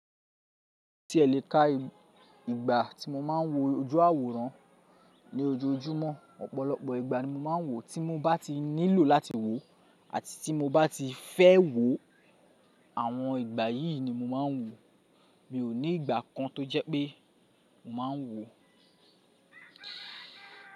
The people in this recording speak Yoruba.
Tí ẹ le ká ìgbà tí mo máa ń wo ojú àwòrán ní ojoojúmọ́, ọ̀pọ̀lọpọ̀ ìgbà ni mo máa ń wò tí mo bá ti nílò láti wò àti tí mo bá ti fẹ́ wò àwọn ìgbà yìí ni mo máa ń wò. Mi ò ní ìgbà kan tó jẹ́ pé mo máa ń wò.